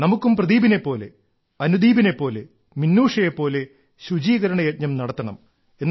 നമുക്കും പ്രദീപിനെ പോലെ അനുദീപിനെ പോലെ മിനൂഷയെ പോലെ ശുചീകരണ യജ്ഞം നടത്തണം